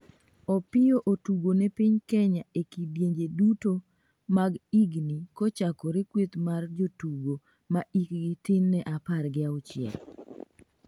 Opiyo otugone piny Kenya e kidienje duto mag higni kochakore kueth mer jotugo ma hikgi tin ne apar gi auchiel